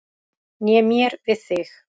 Né mér við þig.